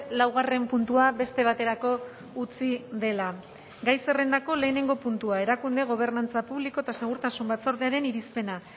laugarren puntua beste baterako utzi dela gai zerrendako lehenengo puntua erakunde gobernantza publiko eta segurtasun batzordearen irizpena